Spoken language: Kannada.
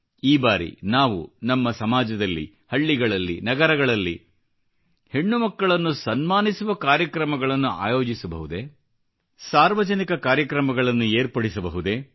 ಈ ಬಾರಿ ನಾವು ನಮ್ಮ ಸಮಾಜದಲ್ಲಿ ಹಳ್ಳಿಗಳಲ್ಲಿ ನಗರಗಳಲ್ಲಿ ಹೆಣ್ಣುಮಕ್ಕಳನ್ನು ಸನ್ಮಾನಿಸುವ ಕಾರ್ಯಕ್ರಮಗಳನ್ನು ಆಯೋಜಿಸಬಹುದೇಸಾರ್ವಜನಿಕ ಕಾರ್ಯಕ್ರಮಗಳನ್ನು ಏರ್ಪಡಿಸಬಹುದು